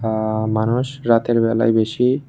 আ মানুষ রাতের বেলায় বেশি--